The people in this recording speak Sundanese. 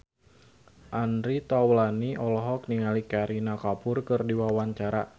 Andre Taulany olohok ningali Kareena Kapoor keur diwawancara